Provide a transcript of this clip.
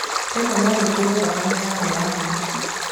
Rĩmwe no wĩkĩrwo thakame yarĩ yaku.